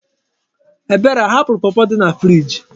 Ebere ahapụrụ pọpọ dị na friiji?